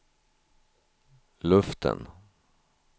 luften